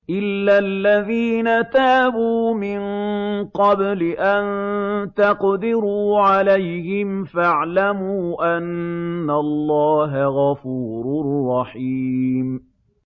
إِلَّا الَّذِينَ تَابُوا مِن قَبْلِ أَن تَقْدِرُوا عَلَيْهِمْ ۖ فَاعْلَمُوا أَنَّ اللَّهَ غَفُورٌ رَّحِيمٌ